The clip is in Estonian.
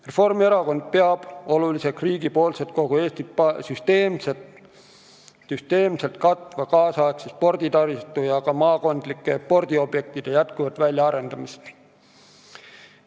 Reformierakond peab oluliseks riigipoolset kogu Eestit süsteemselt katva nüüdisaegse sporditaristu ja ka maakondlike spordiobjektide jätkuvat väljaarendamist.